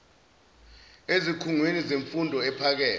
ezikhungweni zemfundo ephakeme